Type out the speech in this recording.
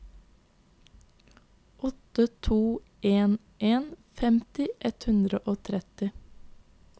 åtte to en en femti ett hundre og tretti